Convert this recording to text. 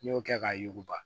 N'i y'o kɛ k'a yuguba